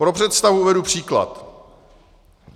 Pro představu uvedu příklad.